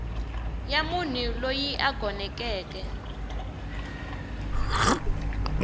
ya munhu loyi a gonekeke